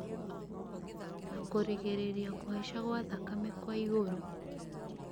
na kũrigĩrĩria kũhaica gwa thakame kwa igũrũ